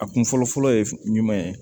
A kun fɔlɔfɔlɔ ye jumɛn ye